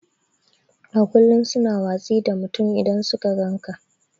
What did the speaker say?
A ƙullum su na watsi da mutum idan suka gan ƙa.